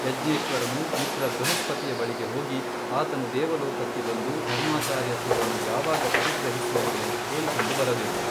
ಯಜ್ಞೇಶ್ವರನು ಮಿತ್ರ ಬೃಹಸ್ಪತಿಯ ಬಳಿಗೆ ಹೋಗಿ ಆತನು ದೇವಲೋಕಕ್ಕೆ ಬಂದು ಧರ್ಮಾಚಾರ್ಯತ್ವವನ್ನು ಯಾವಾಗ ಪರಿಗ್ರಹಿಸುವನು ಎಂದು ಕೇಳಿಕೊಂಡು ಬರಬೇಕು.